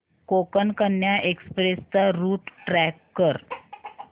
Konkan Kanya express चा route track कर